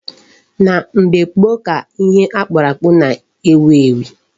Na mgbe gboo ka ihe ọkpụkpụ na-ewu ewu.